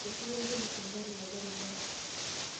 Eitasheyie olpolisi engari tolbaribara.